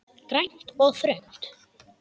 Grænt og þröngt.